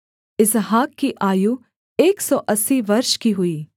इसहाक की आयु एक सौ अस्सी वर्ष की हुई